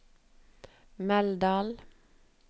Meldal